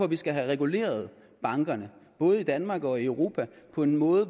vi skal have reguleret bankerne både i danmark og i europa på en måde